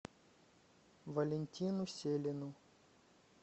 валентину селину